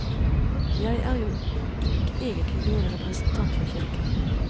Jeg er jo ikke egentlig noen representant for kirken.